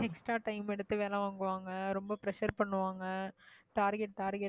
extra time எடுத்து வேலை வாங்குவாங்க, ரொம்ப pressure பண்ணுவாங்க target target னு